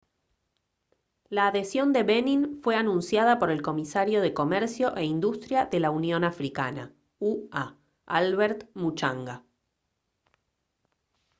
la adhesión de benin fue anunciada por el comisario de comercio e industria de la unión africana ua albert muchanga